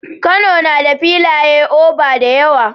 Kano na da filai oba da yawa